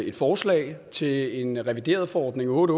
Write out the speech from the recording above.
et forslag til en revideret forordning otte